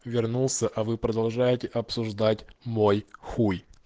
вернулся а вы продолжаете обсуждать мой хуй